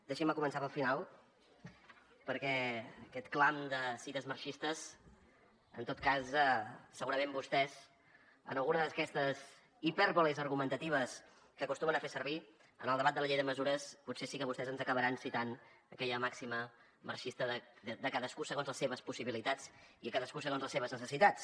deixin me començar pel final perquè aquest clam de cites marxistes en tot cas segurament vostès en alguna d’aquestes hipèrboles argumentatives que acostumen a fer servir en el debat de la llei de mesures potser sí que vostès ens acabaran citant aquella màxima marxista de cadascú segons les seves possibilitats i a cadascú segons les seves necessitats